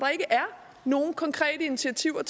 nogen konkrete initiativer